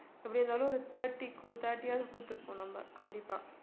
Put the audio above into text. எப்படியிருந்தாலும் ஒரு thirty க்கு thirty யாவது குடுத்திருப்போம் நம்ம